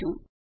લખીશું